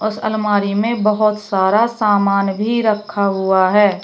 उस अलमारी में बहोत सारा सामान भी रखा हुआ है।